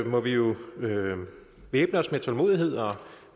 må vi jo væbne os med tålmodighed og